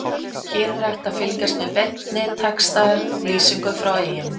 Hér er hægt að fylgjast með beinni textalýsingu frá Eyjum.